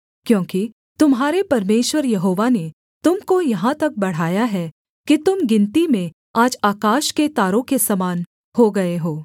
क्योंकि तुम्हारे परमेश्वर यहोवा ने तुम को यहाँ तक बढ़ाया है कि तुम गिनती में आज आकाश के तारों के समान हो गए हो